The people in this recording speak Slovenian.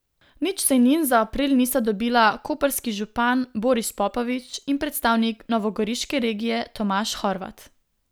Nič sejnin za april nista dobila koprski župan Boris Popovič in predstavnik novogoriške regije Tomaž Horvat.